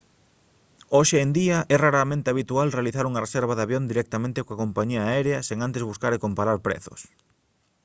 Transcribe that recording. hoxe en día é raramente habitual realizar unha reserva de avión directamente coa compañía aérea sen antes buscar e comparar prezos